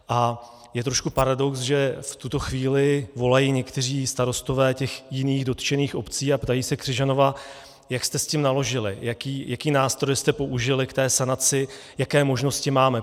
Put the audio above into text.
A je trošku paradox, že v tuto chvíli volají někteří starostové těch jiných dotčených obcí a ptají se Křižanova: Jak jste s tím naložili, jaké nástroje jste použili k té sanaci, jaké možnosti máme?